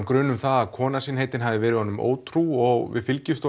gruna að kona sín heitin hafi verið ótrú og við fylgjumst